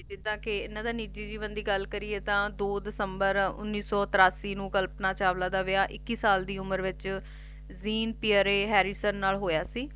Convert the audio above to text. ਜਿੱਦਾ ਕਿ ਇੰਨਾ ਦੇ ਨਿਜੀ ਜੀਵਨ ਦੀ ਗੱਲ ਕਰੀਏ ਤਾਂ ਦੋ ਦਿਸੰਬਰ ਉੱਨੀ ਸੌ ਤਰਾਸੀ ਨੂੰ ਕਲਪਨਾ ਚਾਵਲਾ ਦਾ ਵਿਆਹ ਇਕੀ ਸਾਲ ਦੀ ਉਮਰ ਵਿੱਚ ਜ਼ੀਣ ਪੀਰ ਹੈਰੀਸਨ ਨਾਲ ਹੋਇਆ ਸੀ